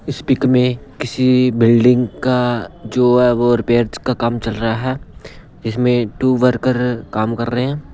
इस पिक में किसी बिल्डिंग का जो है वो रिपेयर्स का काम चल रहा है इसमें टू वर्कर काम कर रहे हैं।